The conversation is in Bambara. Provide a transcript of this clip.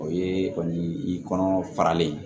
O ye kɔni i kɔnɔ faralen ye